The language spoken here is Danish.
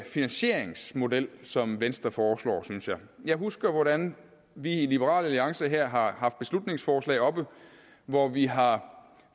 finansieringsmodel som venstre foreslår synes jeg jeg husker hvordan vi i liberal alliance her har haft beslutningsforslag oppe hvor vi har